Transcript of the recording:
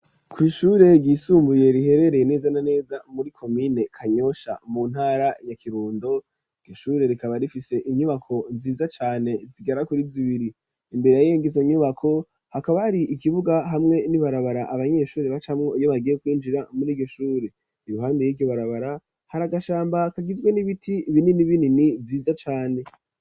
ku ishure ryisumbuye riherereye neza na neza muri komine Kanyosha mu ntara ya Kirundo iryo shure rikaba rifise inyubako nziza cane zigera kuri zibiri imbere yizo nyubako hakaba hari ikibuga hamwe n'ibarabara abanyeshuri bacamwo iyo bagiye kwinjira muri iryo shure iruhande yiryo barabara hari agashamba kagizwe n'ibiti binini binini vyiza cane.